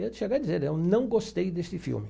Era de chegar e dizer, eu não gostei deste filme.